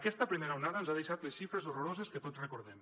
aquesta primera onada ens ha deixat les xifres horroroses que tots recordem